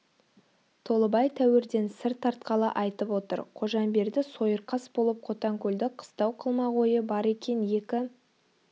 толыбай тәуірден сыр тартқалы айтып отыр қожамберді сойырқас болып қотанкөлді қыстау қылмақ ойы бар екен екі